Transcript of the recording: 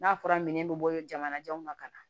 N'a fɔra minɛn bɛ bɔ jamanajanw ma ka na